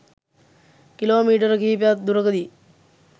kilometre කිහිපයක් දුරකදී